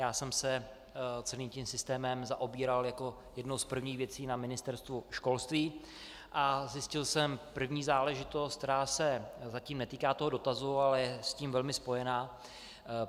Já jsem se celým tím systémem zaobíral jako jednou z prvních věcí na Ministerstvu školství a zjistil jsem první záležitost, která se zatím netýká toho dotazu, ale je s tím velmi spojena.